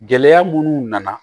Gɛlɛya munnu nana